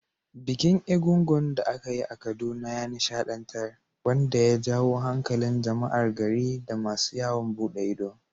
Bikin egúngún da aka yi a Kaduna ya nishaɗantar, wanda ya jawo hankalin jama’ar gari da masu yawon bude ido.